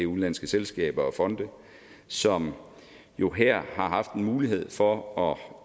udenlandske selskaber og fonde som jo her har haft en mulighed for at